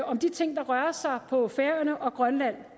om de ting der rører sig på færøerne og grønland